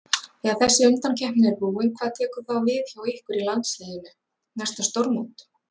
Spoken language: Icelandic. Þegar þessi undankeppni er búin hvað tekur þá við hjá ykkur í landsliðinu, næsta stórmót?